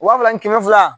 Waa fila ni kɛmɛ fila